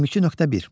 22.1.